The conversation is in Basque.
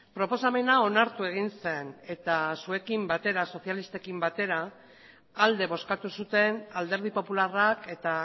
proposamena onartu egin zen eta zuekin batera sozialistekin batera alde bozkatu zuten alderdi popularrak eta